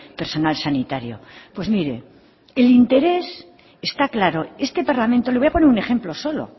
personal sanitario pues mire el interés está claro este parlamento le voy a poner un ejemplo solo